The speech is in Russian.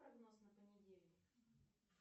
прогноз на понедельник